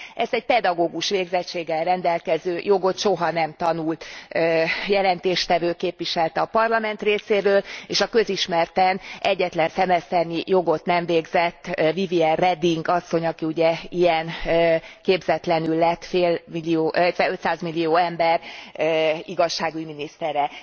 Ezt egy pedagógus végzettséggel rendelkező, jogot soha nem tanult jelentéstevő képviselte a Parlament részéről és a közismerten egyetlen szemeszternyi jogot nem végzett Vivien Reding asszony, aki ugye ilyen képzetlenül lett 500 millió ember igazságügy minisztere.